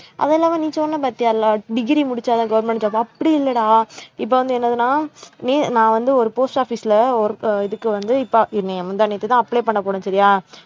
அது இல்லாம நீ சொன்ன பாத்தியால degree முடிச்சாதான் government job அப்படி இல்லடா இப்ப வந்து என்னதுன்னா நீ நான் வந்து ஒரு post office ல ஒரு அஹ் இதுக்கு வந்து இப்ப, முந்தா நேத்து தான் apply பண்ண போனேன் சரியா